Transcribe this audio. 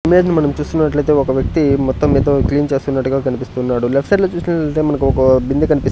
image ని మనం చూస్తున్నట్లయితే ఒక వ్యక్తి మొత్తం ఏదో క్లీన్ చేస్తున్నట్టుగా కనిపిస్తున్నాడు లెఫ్ట్ సైడ్ లో చూస్తున్నట్టే మనకు ఒక బిందె కనిపిస్--